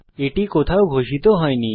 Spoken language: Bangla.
এটি কোথাও ঘোষিত করা হয়নি